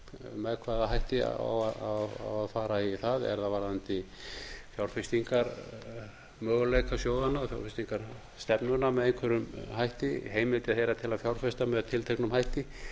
með hvaða hætti á að fara í það er það varðandi fjárfestingarmöguleika sjóðanna og þá stefnuna með einhverjum hætti heimildir þeirra til að fjárfesta með tilteknum hætti